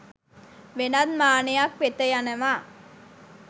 වෙනත් මානයක් වෙත යනවා.